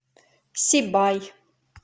сибай